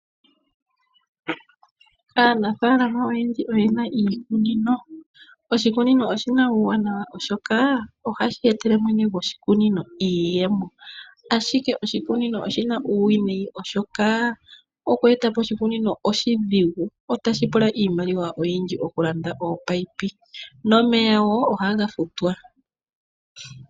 Aanafaalama oyendji oye na iikunino. Oshikunino oshi na uuwanawa, oshoka ohashi etele mwene goshikunino iiyemo. Kakele kwaa shono, oshi na uuwinayi oshoka, okushi eta po oshidhigu, molwaashoka otashi pula iimaliwa oyindji okulanda ominino nokufuta omeya.